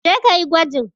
Je ka yi gwajin!